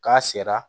K'a sera